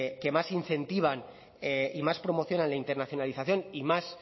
que más incentivan y más promocionan la internacionalización y más